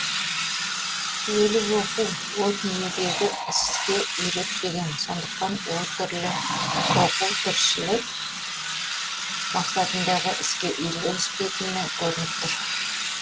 өлі оқу ол дүниедегі іске үйретпеген сондықтан ол түрлі оқу тіршілік мақсатындағы іске үйлеспейтіні көрініп тұр